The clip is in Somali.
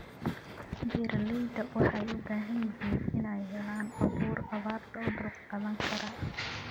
Beeralayda waxay u baahan yihiin inay helaan abuur abaarta u dulqaadan kara.